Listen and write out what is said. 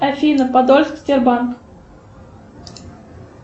афина подольск сбербанк